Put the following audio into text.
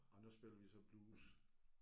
Og nu spiller vi så blues